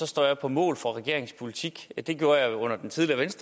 står jeg på mål for regeringens politik det gjorde jeg under den tidligere